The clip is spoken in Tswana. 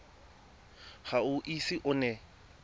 ga o ise o nne